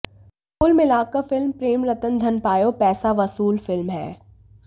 कुल मिलाकर फिल्म प्रेम रतन धन पायो पैसा वसूल फिल्म है